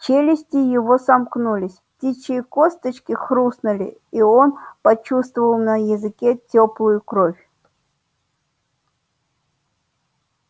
челюсти его сомкнулись птичьи косточки хрустнули и он почувствовал на языке тёплую кровь